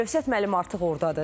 Əlövsət müəllim artıq ordadır.